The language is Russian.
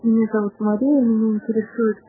аквариумные